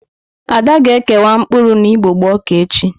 Ada ga-ekewa mkpụrụ na igbogbo ọka echi.